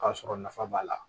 K'a sɔrɔ nafa b'a la